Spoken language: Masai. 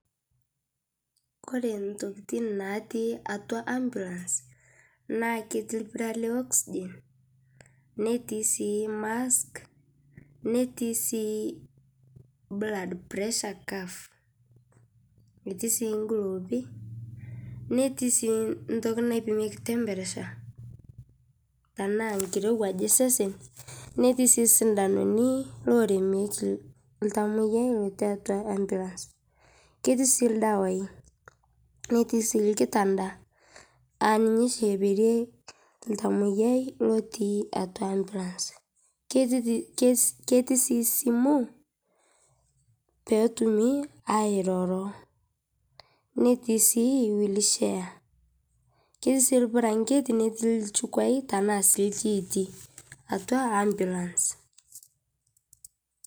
Kore ntokitin naatii atua ambulance, naa ketii lpiiraa le oxygen netii sii mask, netii sii blood pressure curve [cs,] netii sii golofii, netii sii ntokii naipimiek temperature tana nkirewuaj esesen , netii sii sindanuni loiremeki ltamoyiai otii atua ambulance . Ketii sii ldewai natii sii lkitandaa a ninyee sii epeerie ltamoyiai otii atua ambulance. Ketii sii simuu pee itumii airoroo, netii sii wheelchair. Ketii lbuuranjetii netii lchukeei tana sii lshiiti atua ambulance.